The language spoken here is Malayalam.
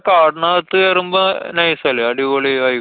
കാടിനകത്ത് കേറുമ്പോ nice അല്ലേ? അടിപൊളി vibe